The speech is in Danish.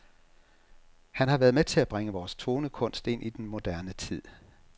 Han har været med til at bringe vores tonekunst ind i den moderne tid.